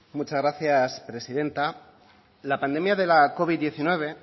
muchas gracias presidenta la pandemia de la covid diecinueve